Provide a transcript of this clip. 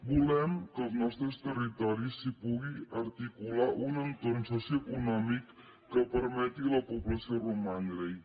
volem que als nostres territoris s’hi pugui articular un entorn socioeconòmic que permeti a la població romandrehi